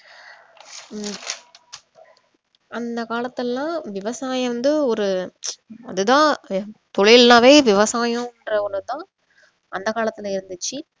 ஹம் அந்த காலத்துலலாம் விவசாயம் வந்து ஒரு அது தான் தொழில்னாவே விவசாயம்ன்ற ஒண்ணு தான் அந்த காலத்துல இருந்துச்சு